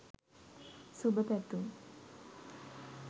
සුභ පැතුම්